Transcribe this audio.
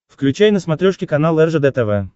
включай на смотрешке канал ржд тв